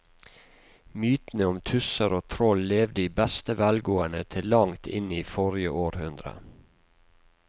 Mytene om tusser og troll levde i beste velgående til langt inn i forrige århundre.